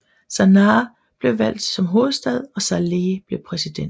Sanaá blev valgt som hovedstad og Saleh blev præsident